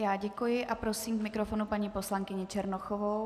Já děkuji a prosím k mikrofonu paní poslankyni Černochovou.